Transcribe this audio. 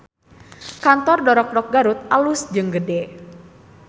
Kantor Dorokdok Garut alus jeung gede